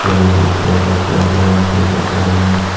ebey je sprite tesprite bejodon prijot boreney.